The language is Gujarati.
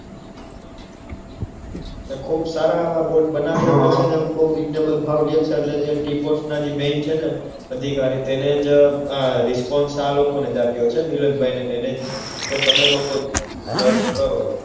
અને બહુ સારા એવા બોર્ડ બનાવે છે હમ અને બહુ reasonable ભાવ લેશે જે tea pot ના જે મેઈન છે ને અધિકારી ને તેણે જ response આ લોકોને